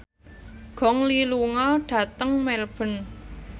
Gong Li lunga dhateng Melbourne